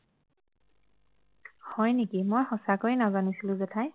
হয় নেকি মই সঁচাকৈয়ে নাজানিছিলো জেঠাই